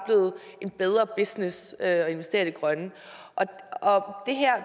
er blevet bedre business at investere i det grønne